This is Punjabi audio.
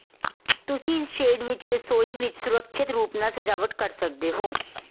ਤੁਸੀਂ ਇਸ ਸ਼ੇਡ ਵਿਚ ਰਸੋਈ ਵਿਚ ਸੁਰੱਖਿਅਤ ਰੂਪ ਨਾਲ ਸਜਾਵਟ ਕਰ ਸਕਦੇ ਹੋ